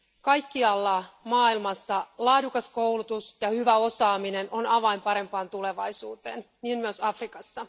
Kaikkialla maailmassa laadukas koulutus ja hyvä osaaminen ovat avain parempaan tulevaisuuteen niin myös Afrikassa.